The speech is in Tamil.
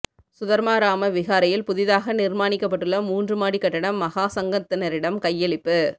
சுதர்மாராம விகாரையில் புதிதாக நிர்மாணிக்கப்பட்டுள்ள மூன்று மாடிக் கட்டடம் மகாசங்கத்தினரிடம் கையளிப்பு